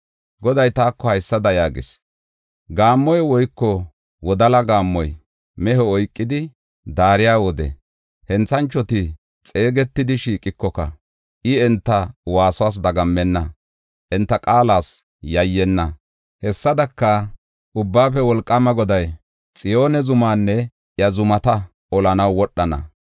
Goday taako haysada yaagis: “Gaammoy woyko wodala gaammoy mehe oykidi daariya wode henthanchoti xeegetidi shiiqikoka, I enta waasuwas dagammenna; enta qaalas yayyenna. Hessadaka, Ubbaafe Wolqaama Goday Xiyoone zumanne iya zumata olanaw wodhana.